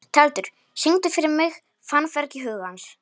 Tjaldur, syngdu fyrir mig „Fannfergi hugans“.